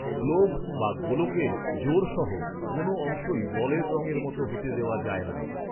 Glove বা গোলকের জোড় সহ কোনো অংশই বলের রঙের মতো হতে দেওয়া যায় না।